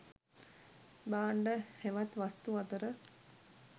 භාණ්ඩ හෙවත් වස්තු අතර